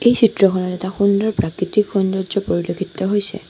এই চিত্ৰখনত এটা সুন্দৰ প্ৰাকৃতিক সৌন্দৰ্য্য পৰিলক্ষিত হৈছে।